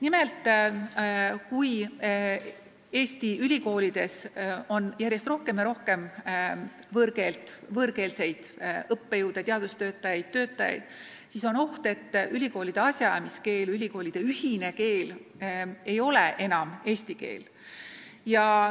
Nimelt, kui Eesti ülikoolides on järjest rohkem võõrkeelseid õppejõude, teadustöötajaid ja muid töötajaid, siis on oht, et ülikoolide asjaajamiskeel, ülikoolide ühine keel ei ole enam eesti keel.